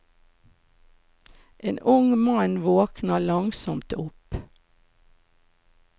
En ung mann våkner langsomt opp.